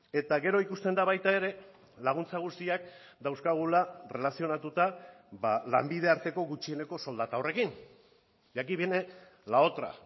eta gero ikusten da baita ere laguntza guztiak dauzkagula erlazionatuta lanbide arteko gutxieneko soldata horrekin y aquí viene la otra